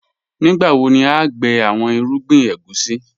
Nígbàwo ni à n gbẹ̀ awọn irúgbìn ègúsi?